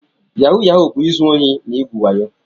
Yahu Yahu bu-izu ohi na igwu wayo.